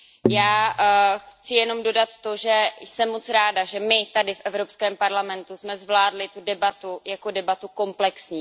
Já chci jenom dodat to, že jsem moc ráda, že my tady v Evropském parlamentu jsme zvládli tu debatu jako debatu komplexní.